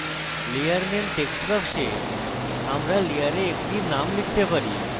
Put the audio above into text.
layer name text box আমরা layer একটি name লিখতে পারি